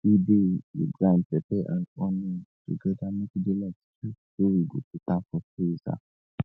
we de de grind pepper and onion together make e de like stew so we go put am for freezer